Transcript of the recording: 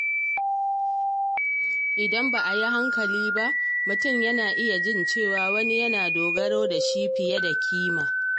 Idan ba a yi hankali ba, mutum na iya jin cewa wani yana dogaro da shi fiye da kima.